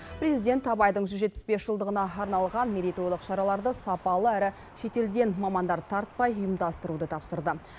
президент абайдың жүз жетпіс бес жылдығына арналған мерейтойлық шараларды сапалы әрі шетелден мамандар тартпай ұйымдастыруды тапсырды